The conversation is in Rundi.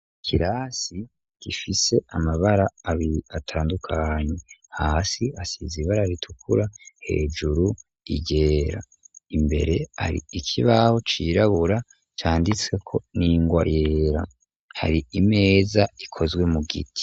Ikirasi gifise amabara abiri atandukanye hasi hasize ibara ritukura hejuru iryera imbere hari ikibaho cirabura canditseko n'ingwa yera hari imeza ikozwe mu giti.